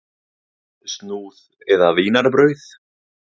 Snúð eða vínarbrauð?